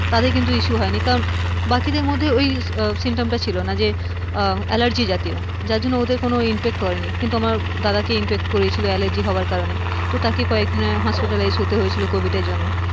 তাদের কিন্তু issue হয়নি, কারণ বাকিদের মধ্যে ওই symptom টা ছিলো না যে আহ allergy জাতীয় যার জন্য ওদের কোনো impact করে নি কিন্তু আমার দাদাকে impact করে গিয়েছিলো allergy হবার কারণে, তো তাকে কয়েকদিনের hospital এ শুতে হয়েছিলো covid এর জন্য,